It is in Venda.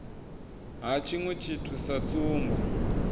ha tshiṅwe tshithu sa tsumbo